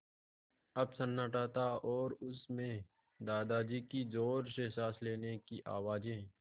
अब सन्नाटा था और उस में दादाजी की ज़ोर से साँस लेने की आवाज़ें